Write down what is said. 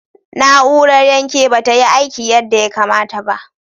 Na'urar yanke ba ta yi aiki yadda ya kamata ba.